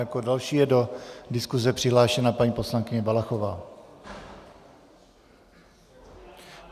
Jako další je do diskuse přihlášena paní poslankyně Valachová.